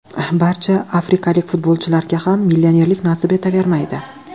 Barcha afrikalik futbolchilarga ham millionerlik nasib etavermaydi.